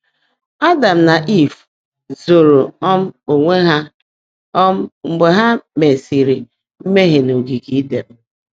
Ádám nà Ìv zòòró um óńwé há um mgbe há meèsị́rị́ mmèhié n’ógeégé Ídèn.